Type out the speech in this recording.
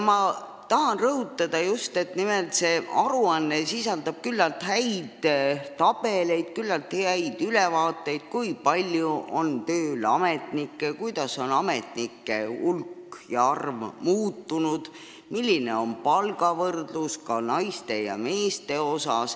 Ma tahan rõhutada just nimelt, et see aruanne sisaldab küllaltki häid tabeleid, küllaltki head ülevaadet, kui palju on tööl ametnikke, kuidas on nende arv muutunud, millised on palgad, seda ka eraldi naistel ja meestel.